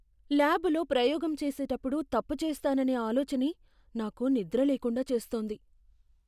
ల్యాబులో ప్రయోగం చేసేటప్పుడు తప్పు చేస్తాననే ఆలోచనే నాకు నిద్రలేకుండా చేస్తోంది.